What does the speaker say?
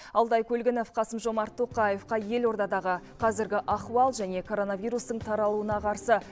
алтай көлгінов қасым жомарт тоқаевқа елордадағы қазіргі ахуал және коронавирустың таралуына қарсы